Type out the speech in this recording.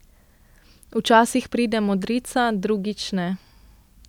Včasih pride modrica, drugič ne.